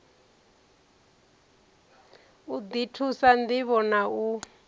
u ḓi thusa ṋdivho na